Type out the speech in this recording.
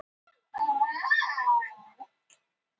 Það hafa ekki komið nein tilboð.